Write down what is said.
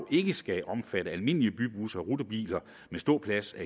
ikke skal omfatte almindelige bybusser og rutebiler med ståpladser